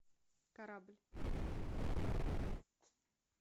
корабль